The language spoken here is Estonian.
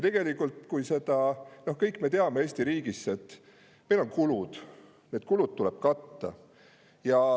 Seda me teame kõik Eesti riigis, et meil on kulud ja need kulud tuleb katta.